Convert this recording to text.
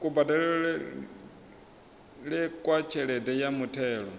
kubadelele kwa tshelede ya muthelo